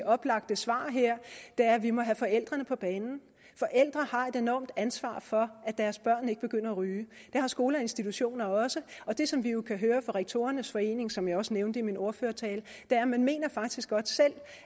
oplagte svar her er at vi må have forældrene på banen forældre har et enormt ansvar for at deres børn ikke begynder at ryge det har skoler og institutioner også og det som vi jo kan høre fra rektorernes forening som jeg også nævnte i min ordførertale er at man mener